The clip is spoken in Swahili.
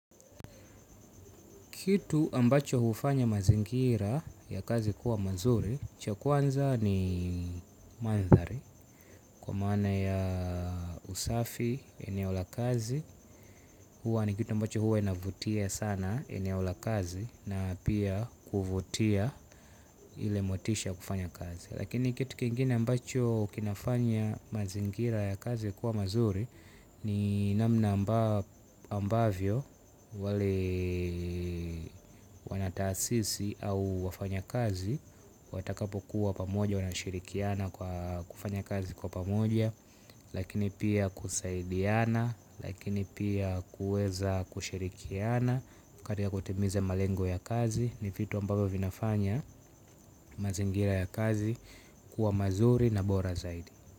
Kitu ambacho hufanya mazingira ya kazi kuwa mazuri, cha kwanza ni mandhari, kwa maana ya usafi eneo la kazi, huwa ni kitu ambacho huwa inavutia sana eneola kazi na pia kuvutia ile motisha kufanya kazi. Lakini kitu kingine ambacho kinafanya mazingira ya kazi kuwa mazuri ni namna ambao ambavyo walee wanataasisi au wafanya kazi watakapo kuwa pamoja wanashirikiana kwa kufanya kazi kwa pamoja. Lakini pia kusaidiana, lakini pia kuweza kushirikiana kati ya kutimiza malengo ya kazi ni vitu ambapo vinafanya mazingira ya kazi kuwa mazuri na bora zaidi.